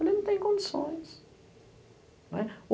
Falei, não tem condições.